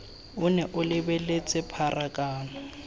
o nne o lebeletse pharakano